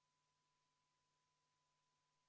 Palun võtta seisukoht ja hääletada!